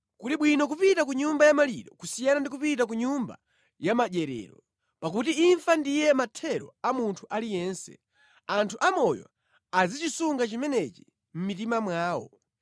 Kuli bwino kupita ku nyumba yamaliro kusiyana ndi kupita ku nyumba yamadyerero: Pakuti imfa ndiye mathero a munthu aliyense; anthu amoyo azichisunga chimenechi mʼmitima mwawo.